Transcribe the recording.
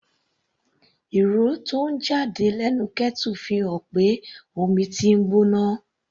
Ìró tó ń jáde lẹ́nu kettle fi hàn pé omi tí ń gbóná.